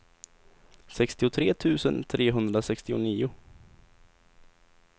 sextiotre tusen trehundrasextionio